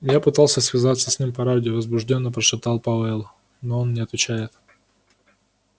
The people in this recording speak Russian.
я пытался связаться с ним по радио возбуждённо прошептал пауэлл но он не отвечает